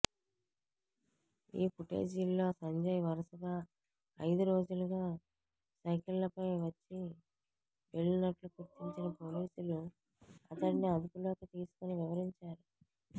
ఈ ఫుటేజీల్లో సంజయ్ వరుసగా ఐదు రోజులుగా సైకిల్పై వచ్చి వెళ్లినట్లు గుర్తించిన పోలీసులు అతడిని అదుపులోకి తీసుకుని విచారించారు